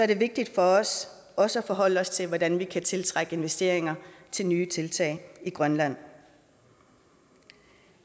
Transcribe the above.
det vigtigt for os også at forholde os til hvordan vi kan tiltrække investeringer til nye tiltag i grønland